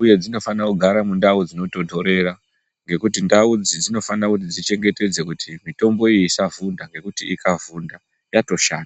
uye dzinofane kugara mundau dzinotonhorera ngekuti ndau idzi dzinofane kuti dzichengetedze kuti mitomboyi isavhunda ngekuti ikavhunda yatoshata.